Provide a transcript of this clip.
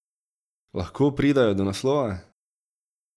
Lahko pridejo do naslova?